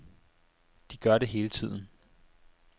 De gør det hele tiden.